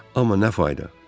Amma nə fayda.